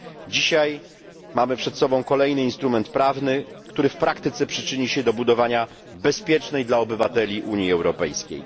Dzisiaj mamy przed sobą kolejny instrument prawny, który w praktyce przyczyni się do budowania bezpiecznej dla obywateli Unii Europejskiej.